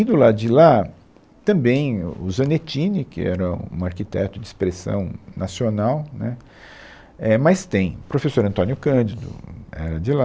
E, do lado de lá, também o o Zanettini, que era um arquiteto de expressão nacional, né, é mas tem professor Antônio Cândido, era de lá.